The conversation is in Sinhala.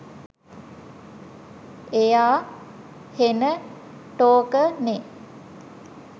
එයා හෙන ටෝක නෙ